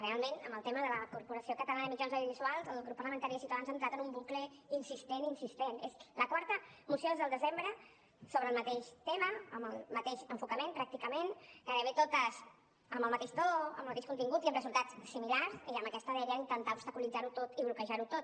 realment amb el tema de la corporació catalana de mitjans audiovisuals el grup parlamentari de ciutadans ha entrat en un bucle insistent insistent és la quarta moció des del desembre sobre el mateix tema amb el mateix enfocament pràcticament gairebé totes amb el mateix to amb el mateix contingut i amb resultats similars i amb aquesta dèria d’intentar obstaculitzar ho tot i bloquejar ho tot